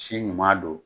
Si ɲuman don